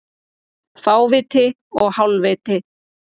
Fáviti og hálfviti